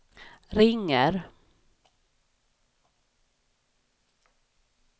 ringer